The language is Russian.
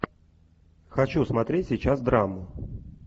хочу смотреть сейчас драму